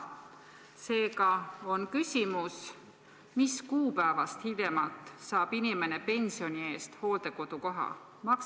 Seega on küsimus: mis kuupäevast hiljemalt saab inimene pensioni eest hooldekodukoha?